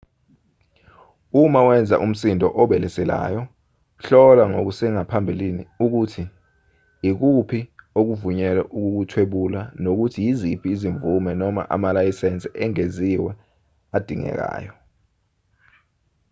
uma wenza umsindo obeleselayo hlola kusengaphambili ukuthi ikuphi ovunyelwe ukukuthwebula nokuthi yiziphi izimvume noma amalayisensi engeziwe edingekayo